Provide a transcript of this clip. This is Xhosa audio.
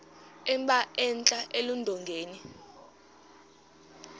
emba entla eludongeni